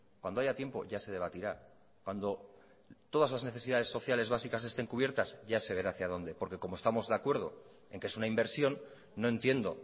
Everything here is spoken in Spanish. cuando haya tiempo ya se debatirá cuando todas las necesidades sociales básicas estén cubiertas ya se verá hacia dónde porque como estamos de acuerdo en que es una inversión no entiendo